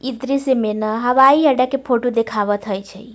इ दृश्य में ना हवाई अड्डा के फोटो देखावत होए छै